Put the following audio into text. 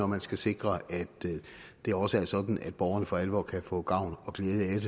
man skal sikre at det også er sådan at borgerne for alvor kan få gavn og glæde